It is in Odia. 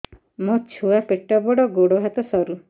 ମୋ ଛୁଆ ପେଟ ବଡ଼ ଗୋଡ଼ ହାତ ସରୁ